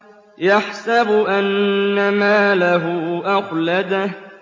يَحْسَبُ أَنَّ مَالَهُ أَخْلَدَهُ